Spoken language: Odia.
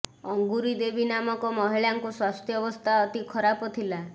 ଅଙ୍ଗୁରି ଦେବୀ ନାମକ ମହିଳାଙ୍କ ସ୍ୱାସ୍ଥ୍ୟବସ୍ଥା ଅତି ଖରାପ ଥିଲା